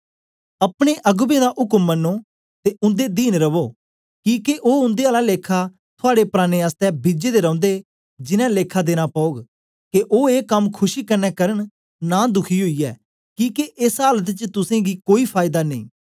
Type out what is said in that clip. अपने अगबें दा उक्म मनो ते उन्दे दीन रवो किके ओ उन्दे आला लेखा थुआड़े प्राणें आसतै बिजे दे रौंदे जिनैं लेखा देना पौग के ओ ए कम खुशी कन्ने करन नां दुखी ओईयै किके एस आलत च तुसेंगी कोई फायदा नेई